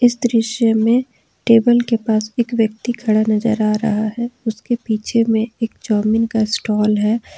इस दृश्य में टेबल के पास एक व्यक्ति खड़ा नजर आ रहा है उसके पीछे में एक चाऊमीन का स्टाल है।